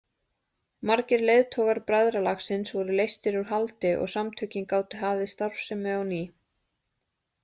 Margir leiðtogar bræðralagsins voru leystir úr haldi og samtökin gátu hafið starfsemi á ný.